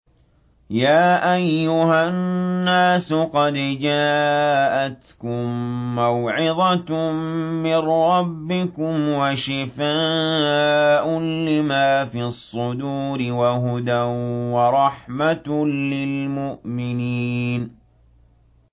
يَا أَيُّهَا النَّاسُ قَدْ جَاءَتْكُم مَّوْعِظَةٌ مِّن رَّبِّكُمْ وَشِفَاءٌ لِّمَا فِي الصُّدُورِ وَهُدًى وَرَحْمَةٌ لِّلْمُؤْمِنِينَ